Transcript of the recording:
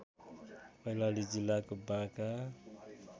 कैलाली जिल्लाको बाँका